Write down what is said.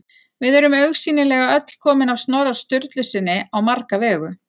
Við erum augsýnilega öll komin af Snorra Sturlusyni á marga vegu.